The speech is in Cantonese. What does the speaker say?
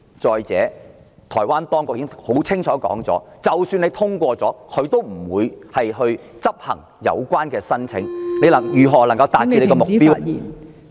再者，台灣當局已清楚表示，即使通過也不會處理有關的申請......政府又如何能夠達到目標呢？